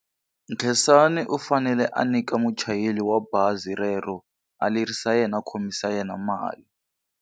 Khensani u fanele a nyika muchayeri wa bazi rero a lerisa yena a khomisa yena mali.